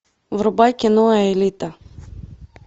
врубай кино аэлита